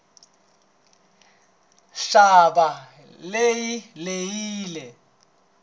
ntshava leyi yi lehile